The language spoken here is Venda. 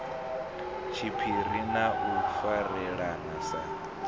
tshiphiri na u farelana sa